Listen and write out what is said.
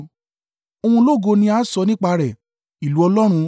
Ohun ológo ni a sọ nípa rẹ̀, ìlú Ọlọ́run,